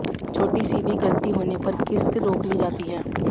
छोटी सी भी गलती होने पर किस्त रोक ली जाती है